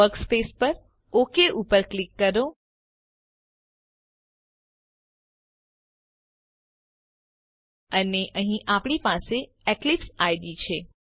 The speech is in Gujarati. વર્કસ્પેસ પર Okઉપર ક્લિક કરો અને અહીં આપણી પાસે એક્લીપ્સ આઇડીઇ છે